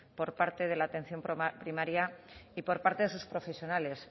por parte de la atención primaria y por parte de sus profesionales